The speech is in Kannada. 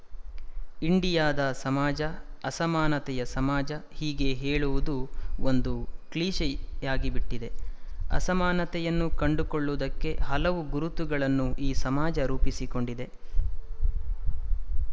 ಇಂಡಿಯಾದ ಸಮಾಜ ಅಸಮಾನತೆಯ ಸಮಾಜ ಹೀಗೆ ಹೇಳುವುದೂ ಒಂದು ಕ್ಲೀಷೆಯಾಗಿ ಬಿಟ್ಟಿದೆ ಅಸಮಾನತೆಯನ್ನು ಕಂಡುಕೊಳ್ಳುವುದಕ್ಕೆ ಹಲವು ಗುರುತುಗಳನ್ನು ಈ ಸಮಾಜ ರೂಪಿಸಿಕೊಂಡಿದೆ